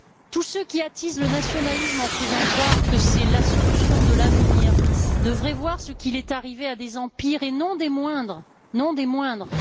Tous ceux qui attisent le nationalisme en faisant croire que c'est la solution de l'avenir devraient voir ce qui est arrivé à certains empires, et non des moindres.